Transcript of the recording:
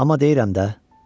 Amma deyirəm də.